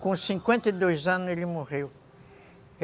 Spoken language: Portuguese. Com cinquenta e dois anos ele morreu.